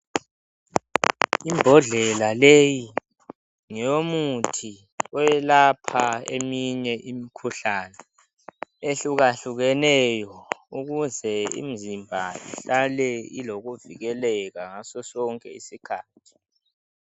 Imbodlela leyi ngeyomuthi oyelapha eminye imikhuhlane ehluka hlukeneyo ukuze imizimba ihlale ilokuvikeleka ngasosonke isikhathi.